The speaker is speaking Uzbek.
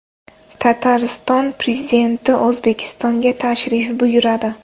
Tatariston prezidenti O‘zbekistonga tashrif buyuradi.